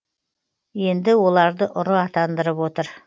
енді оларды ұры атандырып отыр